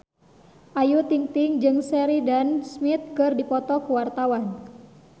Ayu Ting-ting jeung Sheridan Smith keur dipoto ku wartawan